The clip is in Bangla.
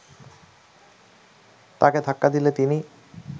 তাকে ধাক্কা দিলে তিনি